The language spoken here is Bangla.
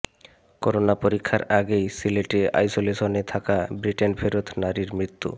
করোনা পরীক্ষার আগেই সিলেটে আইসোলেশনে থাকা ব্রিটেনফেরত নারীর মৃত্যু